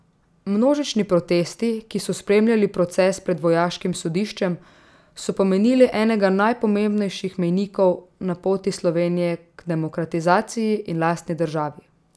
Množični protesti, ki so spremljali proces pred vojaškim sodiščem, so pomenili enega najpomembnejših mejnikov na poti Slovenije k demokratizaciji in lastni državi.